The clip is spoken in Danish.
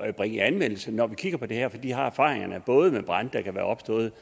at bringe i anvendelse når vi kigger på det her fordi de har erfaringerne både med brande der kan være opstået